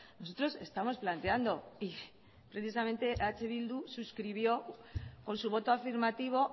nosotros estamos planteando y precisamente eh bildu suscribió con su voto afirmativo